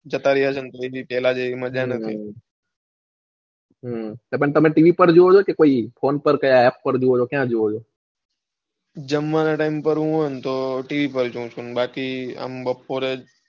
જતા ર્ય છે તેના જેવી મજા નથી હમ તમે tv પર જોવો છે કે કોઈ phone પર app પર ક્યાં જૉવો છો જમવાના time પર tv પર જોઉં છું બાકી આમ બપોરે જતા રયા છે ને તો tv જેવી મજા નથી,